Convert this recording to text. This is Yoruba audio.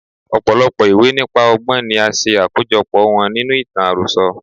Ọ̀pọ̀lọpọ̀ ìwé nípa ọgbọ́n ni a ṣe àkójo pọ̀ wọn nínú ìtàn àròsọ.